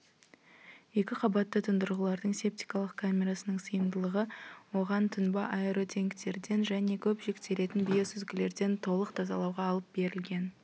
екі қабатты тұндырғылардың септикалық камерасының сыйымдылығы оған тұнба аэротенктерден және көп жүктелетін биосүзгілерден толық тазалауға алып берілген